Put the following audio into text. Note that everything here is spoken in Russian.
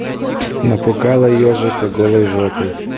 напугала ёжика голой жопой